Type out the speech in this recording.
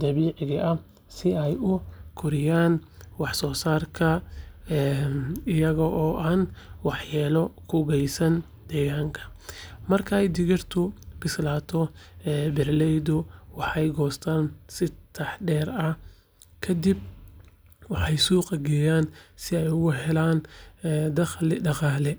dabiiciga ah si ay u kordhiyaan wax-soosaarka iyaga oo aan waxyeello u geysan deegaanka. Markay digirtu bislaato, beeraleydu waxay u goostaan si taxaddar leh, kadibna waxay u suuq geeyaan si ay uga helaan dakhli dhaqaale.